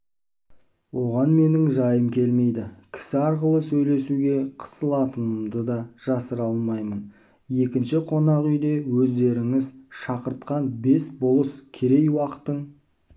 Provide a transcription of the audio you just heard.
оған менің жайым келмейді кісі арқылы сөйлесуге қысылатынымды да жасыра алмаймын екінші қонақ үйде өздеріңіз шақыртқан бес болыс керей-уақтың